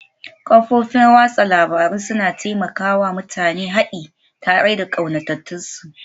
Kafofin watsa labarun suna taimaka wa mutane haɗi tare da ƙaunatattunsu